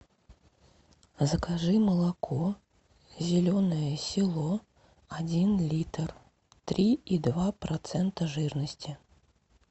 закажи молоко зеленое село один литр три и два процента жирности